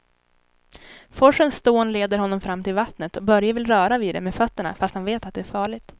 Forsens dån leder honom fram till vattnet och Börje vill röra vid det med fötterna, fast han vet att det är farligt.